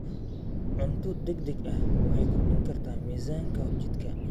Cunto degdeg ah waxay kordhin kartaa miisaanka jidhka.